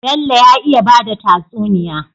Bello ya iya bada tatsuniya